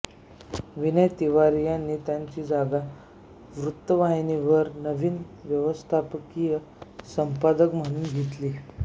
विनय तिवारी यांनी त्यांची जागा वृत्तवाहिनीवर नवीन व्यवस्थापकीय संपादक म्हणून घेतली